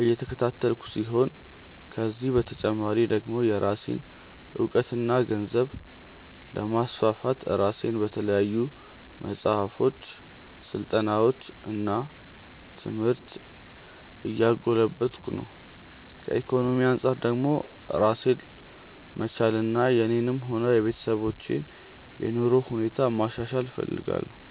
እየተከታተልኩ ሲሆን ከዚህ በተጨማሪ ደግሞ የራሴን እውቀትና ግንዛቤ ለማስፋት ራሴን በተለያዩ መጽሐፎች፣ ስልጠናዎች እና ትምህርት እያጎለበትኩ ነው። ከኢኮኖሚ አንጻር ደግሞ ራሴን መቻልና የኔንም ሆነ የቤተሰቦችን የኑሮ ሁኔታ ማሻሻል እፈልጋለሁ።